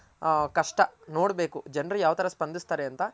ಆ ಕಷ್ಟ ನೋಡ್ಬೇಕು ಜನರು ಯಾವ್ ತರ ಸ್ಪಂದ್ಸ್ತಾರೆ ಅಂತ.